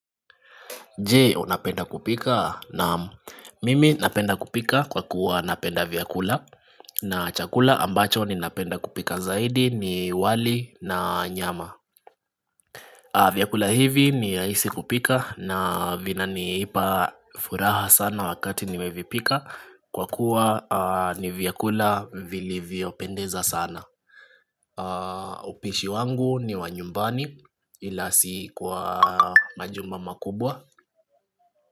Je unapenda kupika na mimi napenda kupika kwa kuwa napenda vyakula na chakula ambacho ninapenda kupika zaidi ni wali na nyama vyakula hivi ni rahisi kupika na vinanipa furaha sana wakati nimevipika kwa kuwa ni vyakula vilivyopendeza sana upishi wangu ni wa nyumbani ila si kwa majumba makubwa.